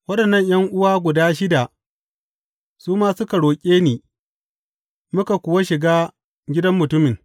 Waɗannan ’yan’uwa guda shida su ma suka rako ni, muka kuwa shiga gidan mutumin.